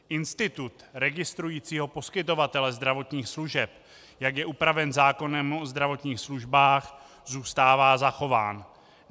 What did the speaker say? Institut registrujícího poskytovatele zdravotních služeb, jak je upraven zákonem o zdravotních službách, zůstává zachován.